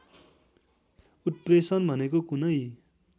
उत्प्रेषण भनेको कुनै